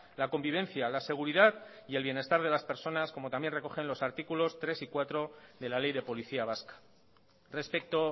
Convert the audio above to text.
la convivencia la seguridad y el bienestar de las personas como también recogen los artículos tres y cuatro de la ley de policía vasca respecto